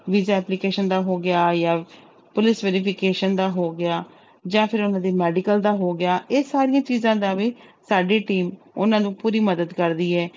Visa application ਦਾ ਹੋ ਗਿਆ ਜਾਂ ਪੁਲਿਸ verification ਦਾ ਹੋ ਗਿਆ ਜਾਂ ਫਿਰ ਉਹਨਾਂ ਦੀ medical ਦਾ ਹੋ ਗਿਆ, ਇਹ ਸਾਰੀਆਂ ਚੀਜ਼ਾਂ ਦਾ ਵੀ ਸਾਡੀ team ਉਹਨਾਂ ਨੂੰ ਪੂਰੀ ਮਦਦ ਕਰਦੀ ਹੈ।